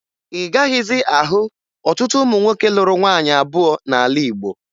Ị gaghịzị ahụ ọtụtụ ụmụ nwoke lụrụ nwaanyị abụọ n'ala Igbo